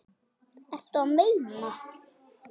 Ertu að meina?